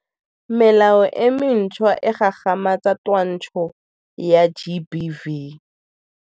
Melao e mentšhwa e gagamatsa twantsho ya GBV.